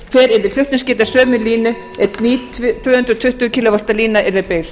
hver yrði flutningsgeta sömu línu ef slík tvö hundruð tuttugu kílóvatta lína yrði byggð